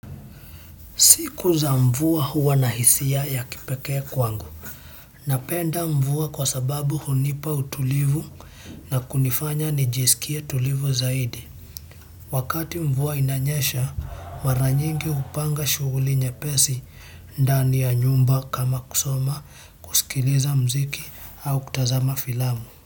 Siku za mvua huwa na hisia ya kipekee kwangu. Napenda mvua kwa sababu hunipa utulivu na kunifanya nijisikie tulivu zaidi. Wakati mvua inanyesha, maranyingi kupanga shughuli nyepesi ndani ya nyumba kama kusoma, kusikiliza mziki au kutazama filamu.